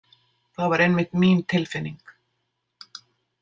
Það var einmitt mín tilfinning.